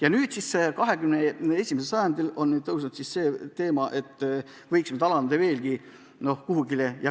Aga nüüd, 21. sajandil on üles tõusnud teema, et seda piiri võiks veelgi alandada.